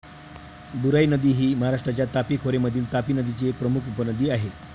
बुराई नदी ही महाराष्ट्राच्या तापी खोरे मधील तापी नदीची एक प्रमुख उपनदी आहे